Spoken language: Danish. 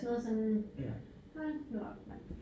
Sådan noget sådan hold nu op mand